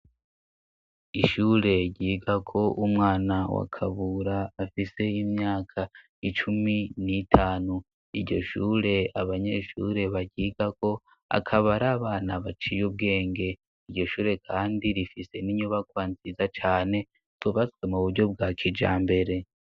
Ishure ryiga ko umwana wakabura afise imyaka icumi n'itanu, iryo shure abanyeshure bagiga ko akabari abana baciye ubwenge, iryo shure kandi rifise n'inyubakwa nziza cane tubatswe mu buryo bwa kijambere.